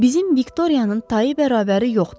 Bizim Viktoriyanın tayı bərabəri yoxdur.